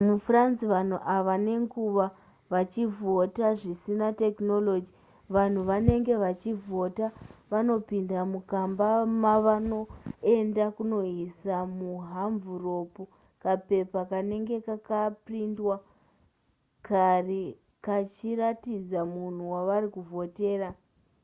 mufrance vanhu vava nenguva vachivhota zvisina technology vanhu vanenge vachivhota vanopinda mukamba mavanoenda kunoisa muhamvuropu kapepa kanenge kakaprindwa kare kachiratidza munhu wavari kuvhotera